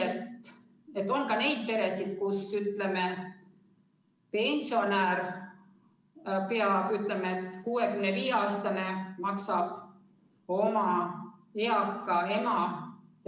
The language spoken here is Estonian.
Oleme ausad, on ka neid peresid, kus, ütleme, pensionär, 65-aastane maksab oma eaka vanema hooldekodukoha eest.